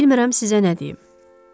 Heç bilmirəm sizə nə deyim.